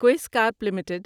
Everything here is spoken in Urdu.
Quess corp limited